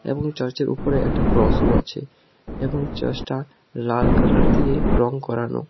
এবং চার্চের উপরে একটা ক্রসও আছে এবং চার্চটা লাল কালার দিয়ে রং করানো।